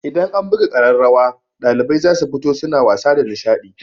Idan an buga ƙararrawa ɗalibai za su fito suna wasa da nishaɗi.